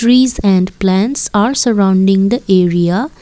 trees and plants are surrounding the area.